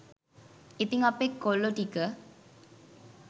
ඉතිං අපේ කොල්ලො ටික